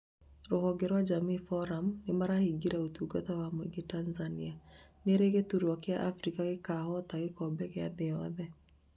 Rũhonge rwa jamii forum nĩmarahingire ũtungata wa muingĩ Tanzania, nĩrĩ gĩtarũ kia Afrika gĩkahota gĩkombe gĩa thĩ yothe?